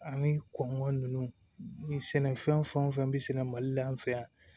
Ani kɔngɔ ninnu ni sɛnɛfɛn fɛn o fɛn bɛ sɛnɛ mali la an fɛ yan